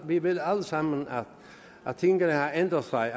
vi ved alle sammen at tingene har ændret sig